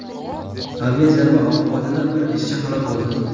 Aviazarba oqibatida bir ishchi halok bo‘ldi.